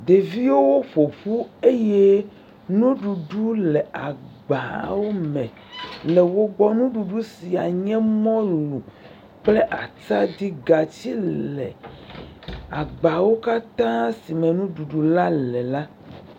Ɖeviwo ƒoƒu eye nuɖuɖu le agbawo me le wo gbɔ. Nuɖuɖu sia nye mɔlu kple atadi. Gatsi le agbawo katã si me nuɖuɖu la le la.